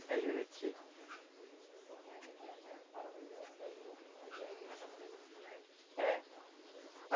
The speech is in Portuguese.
É Juruti. Eh